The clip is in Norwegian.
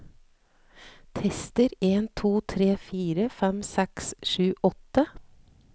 Tester en to tre fire fem seks sju åtte